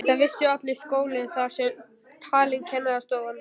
Þetta vissi allur skólinn, þar með talin kennarastofan.